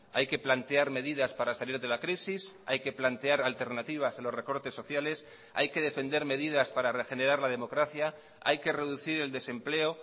hay que plantear medidas para salir de la crisis hay que plantear alternativas a los recortes sociales hay que defender medidas para regenerar la democracia hay que reducir el desempleo